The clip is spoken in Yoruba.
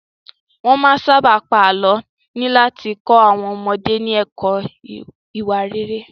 Wọ́n máa ń sábà pa àlọ́ láti kọ́ àwọn ọmọdé ní ẹ̀kọ́ ìwà rere.